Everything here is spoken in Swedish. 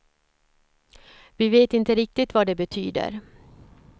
Vi vet inte riktigt vad det betyder.